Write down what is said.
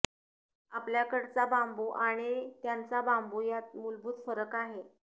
आपल्याकडचा बांबू आणि त्यांचा बांबू यात मुलभूत फरक आहे